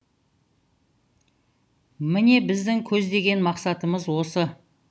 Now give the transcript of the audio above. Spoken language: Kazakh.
міне біздің көздеген мақсатымыз осы